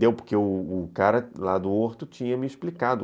Deu porque o cara lá do horto tinha me explicado.